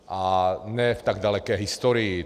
A ne v tak daleké historii.